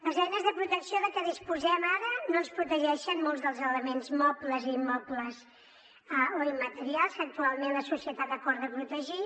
les eines de protecció de què disposem ara no ens protegeixen molts dels elements mobles i immobles o immaterials que actualment la societat acorda protegir